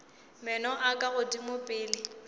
meno a ka godimo pele